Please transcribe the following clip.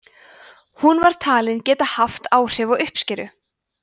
hún var talin geta haft áhrif á uppskeru